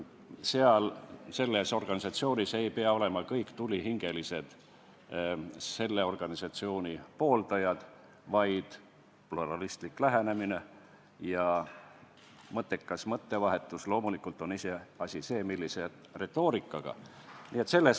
Selles organisatsioonis ei pea olema kõik tulihingelised selle organisatsiooni pooldajad, oluline on pluralistlik lähenemine ja mõttekas mõttevahetus, loomulikult on iseasi see, millise retoorikaga seda tehakse.